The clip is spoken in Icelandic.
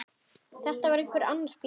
Var þetta einhver annar bíll?